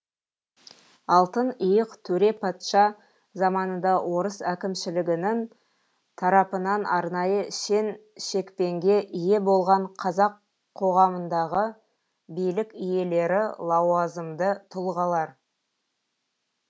алтын иық төре патша заманында орыс әкімшілігінің тарапынан арнайы шен шекпенге ие болған қазақ қоғамындағы билік иелері лауазымды тұлғалар